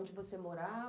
Onde você morava?